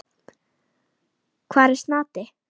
Hvar er Snati?